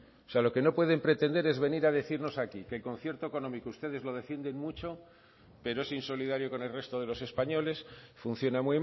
lo que no pueden pretender es venir a decirnos aquí que el concierto económico ustedes lo defienden mucho pero es insolidario con el resto de los españoles funciona